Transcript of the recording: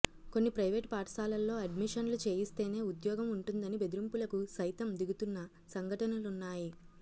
కొన్ని ప్రయివేటు పాఠశాలల్లో అడ్మిషన్లు చేయిస్తేనే ఉద్యోగం ఉంటుందని బెదిరింపులకు సైతం దిగుతున్న సంఘటనలున్నాయి